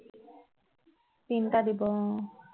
তিনটা দিব অ